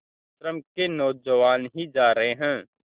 आश्रम के नौजवान ही जा रहे हैं